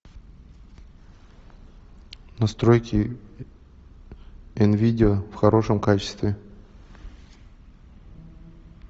настройки нвидеа в хорошем качестве